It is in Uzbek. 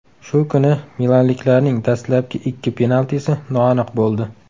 Shu kuni milanliklarning dastlabki ikki penaltisi noaniq bo‘ldi.